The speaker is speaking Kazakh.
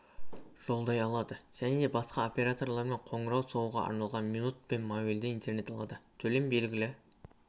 жолдай алады және басқа операторларға қоңырау соғуға арналған минут пен мобильді интернет алады төлем белгілі